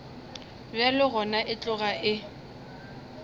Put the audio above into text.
bjalo gona e tloga e